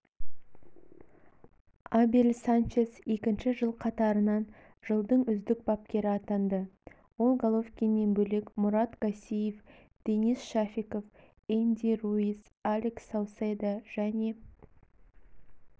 абель санчес екінші жыл қатарынан жылдың үздік бапкері атанды ол головкиннен бөлек мурат гассиев денис шафиков энди руис алекс сауседо және